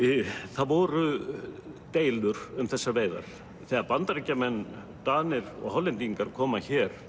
það voru deilur um þessar veiðar þegar Bandaríkjamenn Danir og Hollendingar koma hér